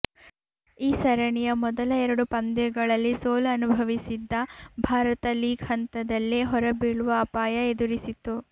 ಈ ಸರಣಿಯ ಮೊದಲ ಎರಡು ಪಂದ್ಯಗಳಲ್ಲಿ ಸೋಲು ಅನುಭವಿಸಿದ್ದ ಭಾರತ ಲೀಗ್ ಹಂತದಲ್ಲೇ ಹೊರಬೀಳುವ ಅಪಾಯ ಎದುರಿಸಿತ್ತು